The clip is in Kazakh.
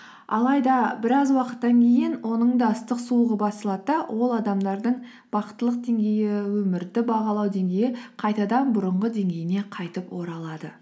алайда біраз уақыттан кейін оның да ыстық суығы басылады да ол адамдардың бақыттылық деңгейі өмірді бағалау деңгейі қайтадан бұрынғы деңгейіне қайтып оралады